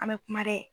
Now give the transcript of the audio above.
An bɛ kuma dɛ